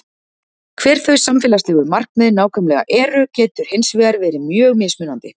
Hver þau samfélagslegu markmið nákvæmlega eru getur hins vegar verið mjög mismunandi.